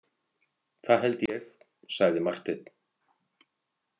Það held ég, sagði Marteinn.